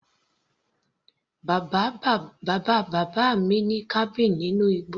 Bàbá bàbá mi ní cabin nínú igbó.